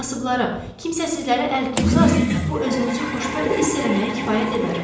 Kasıblara, kimsəsizlərə əl tutsanız, bu özünüzü xoşbəxt hiss eləməyə kifayət edər.